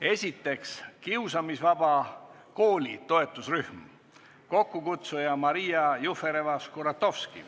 Esiteks, kiusamisvaba kooli toetusrühm, kokkukutsuja on Maria Jufereva-Skuratovski.